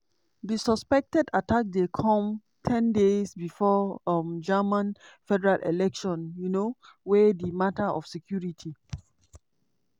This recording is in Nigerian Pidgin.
di suspected attack dey come ten days bifor um germany federal election um wia di mata of security